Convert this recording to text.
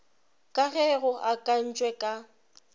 ka ge go akantšwe ka